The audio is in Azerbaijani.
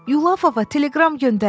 Yulafova teleqram göndərin.